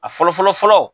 A fɔlɔ fɔlɔ fɔlɔ